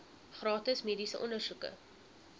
gratis mediese ondersoeke